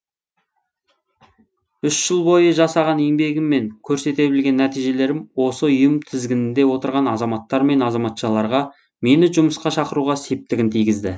үш жыл бойы жасаған еңбегім мен көрсете білген нәтижелерім осы ұйым тізгінінде отырған азаматтар мен азаматшаларға мені жұмысқа шақыруға септігін тигізді